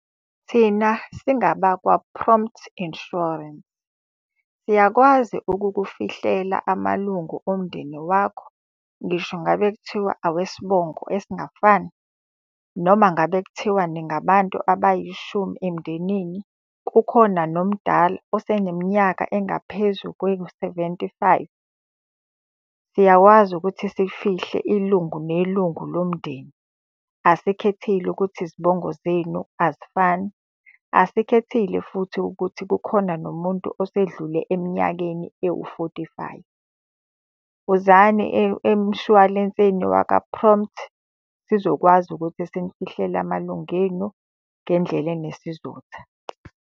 Thina singabakwa-Prompt Insurance, siyakwazi ukukufihlela amalungu omndeni wakho, ngisho ngabe kuthiwa awesibongo esingafani. Noma ngabe kuthiwa ningabantu abayishumi emndenini, kukhona nomdala oseneminyaka engaphezu kwe wu-seventy-five. Siyakwazi ukuthi sifihle ilungu nelungu lomndeni, asikhethile ukuthi izibongo zenu azifani. Asikhethile futhi ukuthi kukhona nomuntu osedlule eminyakeni ewu-forty-five. Wozani emshwalenseni waka-Prompt, sizokwazi ukuthi sinifihlele amalunga enu ngendlela enesizotha.